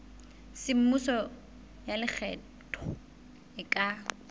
semmuso ya lekgetho e ka